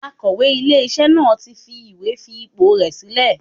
Akọ̀wé ilé iṣẹ́ náà tí fi ìwé fi ipò rè sílẹ̀.